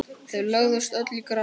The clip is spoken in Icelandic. Þau lögðust öll í grasið.